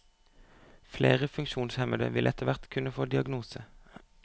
Flere funksjonshemmede vil etterhvert kunne få diagnose.